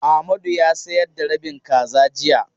Amadu ya sayar da rabin kaza jiya.